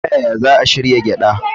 Ta yaya za a shirya gyada?